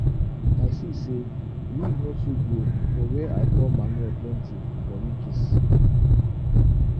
i see say weed no too grow for where i pour manure plenty for ridges